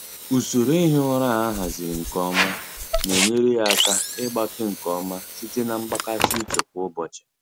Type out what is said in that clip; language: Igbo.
Usoro ihi ụra a haziri nke ọma na-enyere ya aka ịgbake nke ọma site na mgbakasị uche kwa ụbọchị.